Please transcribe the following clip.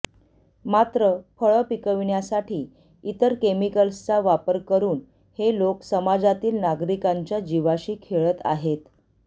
मात्र फळं पिकविण्यासाठी इतर केमिकल्सचा वापर करून हे लोक समाजातील नागरिकांच्या जीवाशी खेळत आहेत